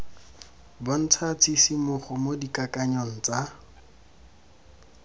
bontsha tshisimogo mo dikakanyong tsa